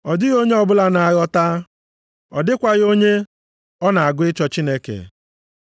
Ọ dịghị onye ọbụla na-aghọta, ọ dịkwaghị onye ọ na-agụ ịchọ Chineke.